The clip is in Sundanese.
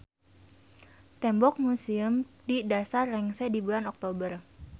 Tembok museum di dasar rengse di bulan Oktober.